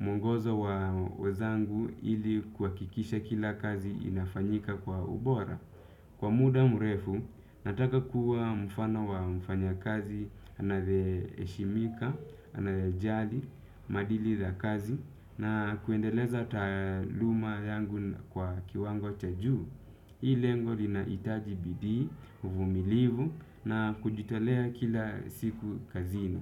mwongozo wa wenzangu ili kuhakikisha kila kazi inafanyika kwa ubora. Kwa muda mrefu, nataka kuwa mfano wa mfanyakazi, anayeheshimika, anayejali, maadili za kazi, na kuendeleza taaluma yangu kwa kiwango cha juu. Hii lengo linahitaji bidii, uvumilivu na kujitolea kila siku kazini.